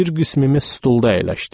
Bir qismimiz stulda əyləşdik.